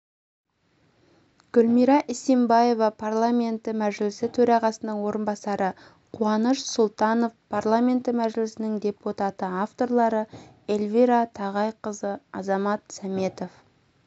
гүлмира исимбаева парламенті мәжілісі төрағасының орынбасары қуаныш сұлтанов парламенті мәжілісінің депутаты авторлары эльвира тағайқызы азамат сәметов